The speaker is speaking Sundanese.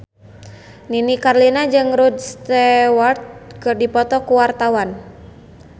Nini Carlina jeung Rod Stewart keur dipoto ku wartawan